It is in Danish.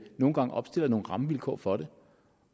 nogle gange opstiller nogle rammevilkår for det